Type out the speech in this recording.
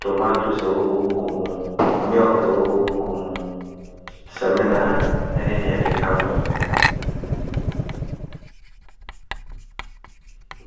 tomatese a ɛwɔ konko mu, milk a ɛwɔ konko mu, samina ne deɛ ɛkeka ho.